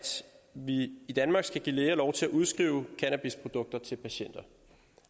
vi i danmark skal give læger lov til at udskrive cannabisprodukter til patienter